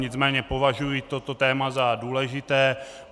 Nicméně považuji toto téma za důležité.